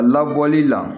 A labɔli la